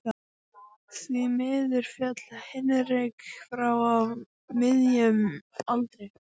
Því miður féll Hinrik frá á miðjum aldri.